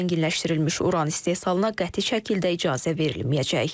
Zənginləşdirilmiş uran istehsalına qəti şəkildə icazə verilməyəcək.